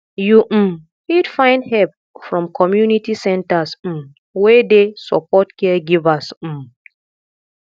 you um fit find help from community centres um wey dey support caregivers um